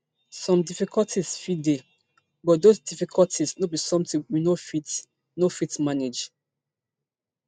some difficulties fit dey but those difficulties no be sometin we no fit no fit manage